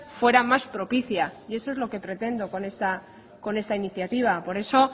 fuera más propicia y eso es lo que pretendo con esta iniciativa por eso